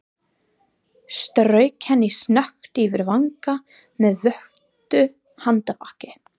Strauk henni snöggt yfir vanga með votu handarbaki.